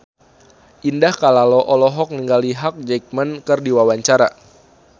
Indah Kalalo olohok ningali Hugh Jackman keur diwawancara